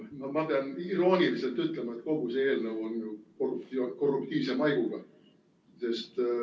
No ma pean irooniliselt ütlema, et kogu see eelnõu on ju korruptiivse maiguga.